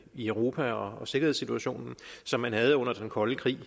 i europa og for sikkerhedssituationen som den havde under den kolde krig